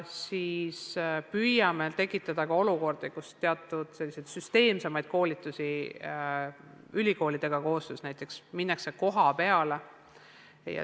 Siis püüame teha ka teatud süsteemsemaid koolitusi koostöös ülikoolidega, näiteks minnakse kohapeale.